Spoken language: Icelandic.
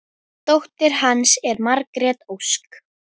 Dóttir hans er Margrét Ósk.